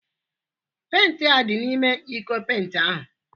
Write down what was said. Penti a dị n'ime iko penti ahụ?